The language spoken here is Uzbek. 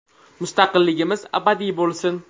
Mustaqilligimiz abadiy bo‘lsin!